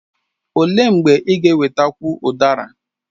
Olee mgbe ị ga ewetakwu udara?